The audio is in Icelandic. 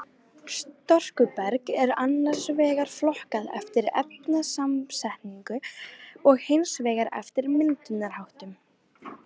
Storkuberg er annars vegar flokkað eftir efnasamsetningu og hins vegar eftir myndunarháttum.